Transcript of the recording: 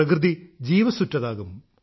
പ്രകൃതി ജീവസ്സുറ്റതാകും